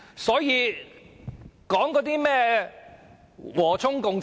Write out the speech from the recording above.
所以，說甚麼和衷共濟？